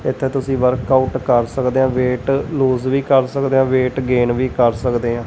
ਇਥੇ ਤੁਸੀਂ work out ਕਰ ਸਕਦੇ ਆ ਵੇਟ ਲੂਜ ਵੀ ਕਰ ਸਕਦੇ ਆ ਵੇਟ ਗੇਨ ਵੀ ਕਰ ਸਕਦੇ ਆ।